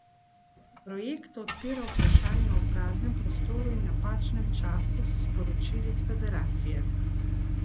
Projekt odpira vprašanja o praznem prostoru in napačnem času, so sporočili s Federacije.